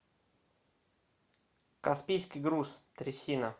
каспийский груз трясина